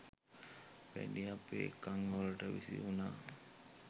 පැණි අපේ කන් වලටත් විසි වුණා